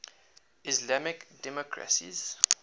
islamic democracies